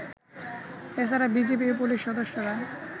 এছাড়া বিজিবি ও পুলিশ সদস্যরা